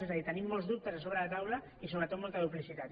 és a dir tenim molts dubtes sobre la taula i sobretot molta duplicitat